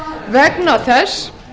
vegna þess